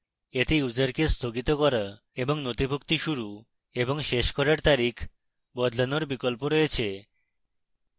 এতে ইউসারকে স্থগিত করা এবং নথিভুক্তি শুরু এবং শেষ করার তারিখ বদলানোর বিকল্প রয়েছে